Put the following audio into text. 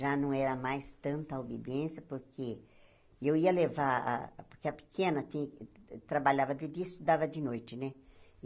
Já não era mais tanta obediência, porque eu ia levar a, porque a pequena trabalhava de dia e estudava de noite, né?